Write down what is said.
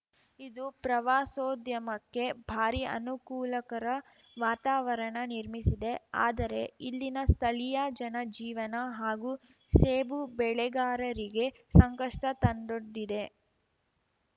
ಇದು ಪ್ರವಾಸೋದ್ಯಮಕ್ಕೆ ಭಾರೀ ಅನುಕೂಲಕರ ವಾತಾವರಣ ನಿರ್ಮಿಸಿದೆ ಆದರೆ ಇಲ್ಲಿನ ಸ್ಥಳೀಯ ಜನ ಜೀವನ ಹಾಗೂ ಸೇಬು ಬೆಳೆಗಾರರಿಗೆ ಸಂಕಷ್ಟತಂದೊಡ್ಡಿದೆ